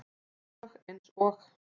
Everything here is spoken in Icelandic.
Lög eins og